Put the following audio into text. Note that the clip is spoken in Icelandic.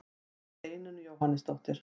Steinunn Jóhannesdóttir.